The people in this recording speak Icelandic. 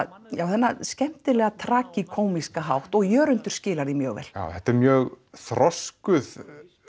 þennan skemmtilega tragíkómíska hátt og Jörundur skilar því mjög vel já þetta er mjög þroskuð